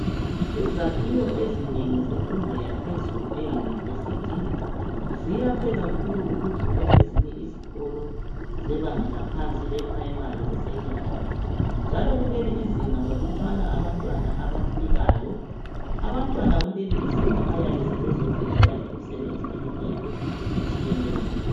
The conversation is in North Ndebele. izakhiwo ezinengi zemfundo yaphezulu e university ziyakhiwe kakhulu ukudlula ezinye izikolo zebanga laphansi e primary le secondary njalo kuleli izinga balutshwani abantwana abafikayo abantwana kuleli izinga bayabe bezofundela imisebenzi eminegiu etshiyeneyo